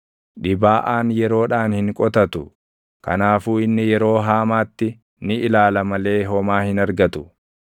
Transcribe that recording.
Dhibaaʼaan yeroodhaan hin qotatu; kanaafuu inni yeroo haamaatti ni ilaala malee // homaa hin argatu.